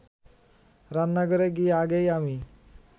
রান্নাঘরে গিয়ে আগেই আমি